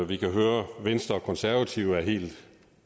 vi kan høre at venstre og konservative er helt